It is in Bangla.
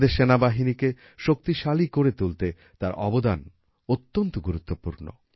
আমাদের সেনাবাহিনীকে শক্তিশালী করে তুলতে তার অবদান অত্যন্ত গুরুত্বপূর্ণ